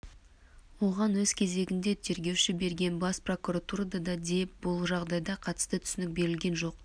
оған өз кезегінде тергеуші берген бас прокуратурада да де бұл жағдайға қатысты түсінік берілген жоқ